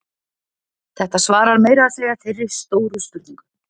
þetta svarar meira að segja þeirri stóru spurningu